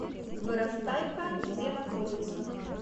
вырастай ка где находится